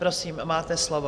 Prosím, máte slovo.